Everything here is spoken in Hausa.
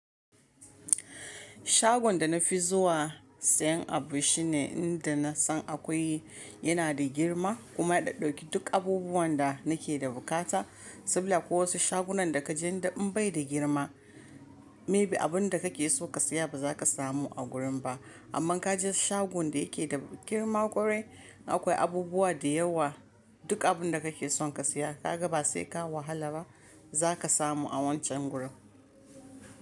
Shagon da na fi zuwa sayen abu shine inda na san akwai yana da girma kuma ya ɗauki duk abubuwan da nake da bukata. Saboda ko wasu shagunan da ka je da in bai da girma, maybe abun da kake so ka siya ba za ka samu a gurin ba. Amma ka je shagon da yake da girma ƙwarai akwai abubuwa da yawa. Duk abun da kake son ka siya ka ga ba sai ka wahala ba za ka samu a wancan gurin.